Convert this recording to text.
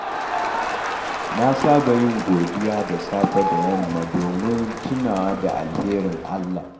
Na saba yin godiya da safe da yamma domin tunawa da alherin Allah.